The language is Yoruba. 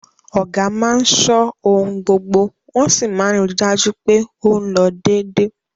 Ọ̀gá máa ṣọ́ ohun gbogbo wọ́n sì máa ń ri dájú pé ó ń lọ dédé